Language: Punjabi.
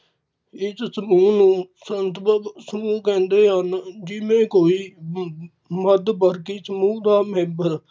ਇਸ ਸਮੂਹ ਨੂੰ ਸੰਦਬਗ ਸਮੂਹ ਕਹਿੰਦੇ ਹਨ ਜਿਵੇਂ ਕੋਈ ਮੱਧ ਵਰਗੀ ਸਮੂਹ ਦਾ member